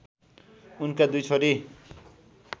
उनका दुई छोरी